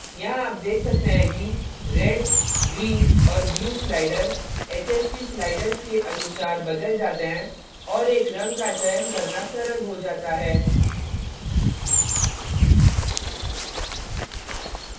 यहाँ आप देख सकते हैं कि red red green green और blue blue sliders hsv sliders के अनुसार बदल जाते हैं और एक रंग का चयन करना सरल हो जाता है